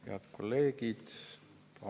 Head kolleegid!